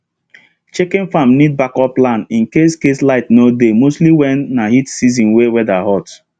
chicken farm need backup plan in case case light no dey mostly when na heat season wey weather hot